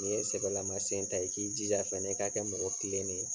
Nin ye sɛbɛlamasen ta ye, k'i jija fɛnɛ ka kɛ mɔgɔ kilenen ye/